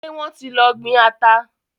Ṣé wọ́n ti lọ gbin ata.